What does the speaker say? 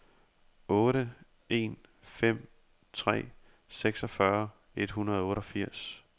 otte en fem tre seksogfyrre et hundrede og otteogfirs